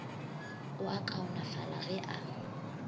o a kaonafala ge a